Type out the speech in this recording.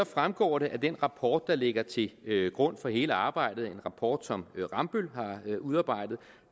fremgår det af den rapport der ligger til grund for hele arbejdet en rapport som rambøll har udarbejdet